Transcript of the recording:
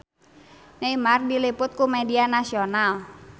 Neymar diliput ku media nasional